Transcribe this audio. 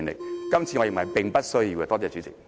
我認為今次是並不需要的。